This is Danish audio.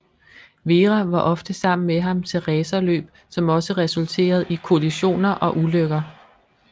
Vera var ofte sammen med ham til racerløb som også resulterede i kollisioner og ulykker